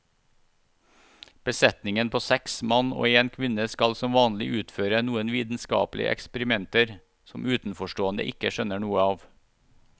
Besetningen på seks mann og en kvinne skal som vanlig utføre noen vitenskapelige eksperimenter som utenforstående ikke skjønner noe av.